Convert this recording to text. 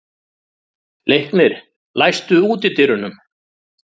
Leiknir, læstu útidyrunum.